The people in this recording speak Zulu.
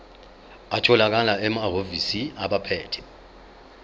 atholakala emahhovisi abaphethe